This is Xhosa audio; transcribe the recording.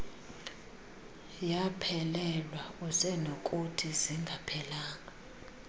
yaphelelwa usenokuthi zingaphelanga